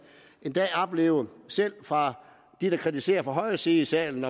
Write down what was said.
en dag opleve selv fra dem der kritiserer fra højre side i salen